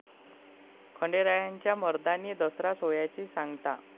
खंडेरायाच्या 'मर्दानी दसरा' सोहळ्याची सांगता